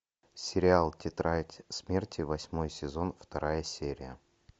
сериал тетрадь смерти восьмой сезон вторая серия